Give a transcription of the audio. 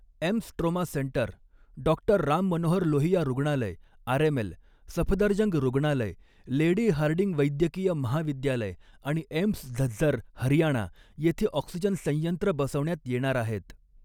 AIIMS trauma centre, Dr Ram Manohar Lohia रुग्णालय RML, Safdarjung रुग्णालय, Lady Hardinge वैद्यकीय महाविद्यालय आणि एम्स झझ्झर, हरियाणा इथे ऑक्सिजन संयंत्र बसवण्यात येणार आहेत.